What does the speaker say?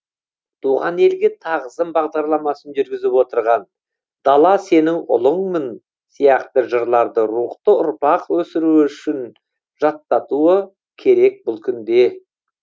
рухани жаңғыру туған елге тағзым бағдарламасын жүргізіп отырғандар дала сенің ұлыңмын сияқты жырларды рухты ұрпақ өсіруі үшін жаттатуы керек бұл күнде